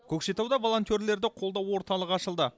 көкшетауда волонтерлерді қолдау орталығы ашылды